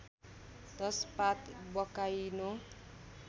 १० पात बकाइनो